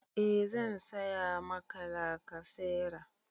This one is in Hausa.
E zan saya Maka lakasera